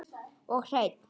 Og hreinn!